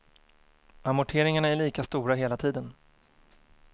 Amorteringarna är lika stora hela tiden.